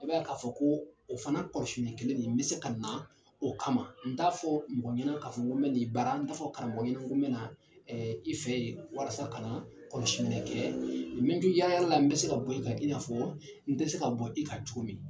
I b'a ye ka fɔ ko o fana kɔlɔsili kelen be se ka na o kama n t'a fɔ mɔgɔ ye ka fɔ ko n bɛ na i bara n t'a fɔ karamɔgɔ ɲɛna ko n bɛ na i fɛ yen walasa ka na kɔlɔsi kɛ, n bɛ to yala yala la n bɛ se ka bɔ i ka , i n'a fɔ n tɛ se ka bɔ i ka cogo min.